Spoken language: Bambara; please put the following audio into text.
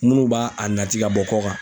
Munnu b'a a nati ka bɔ kɔkan.